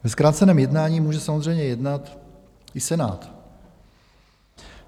Ve zkráceném jednání může samozřejmě jednat i Senát.